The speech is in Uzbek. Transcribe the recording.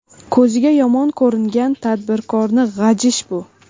Ko‘ziga yomon ko‘ringan tadbirkorni g‘ajish bu.